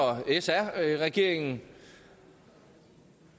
sr regeringen